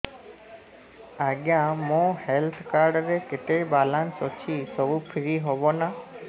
ଆଜ୍ଞା ମୋ health card ରେ କେତେ ବାଲାନ୍ସ ଅଛି ସବୁ ଫ୍ରି ହବ ନାଁ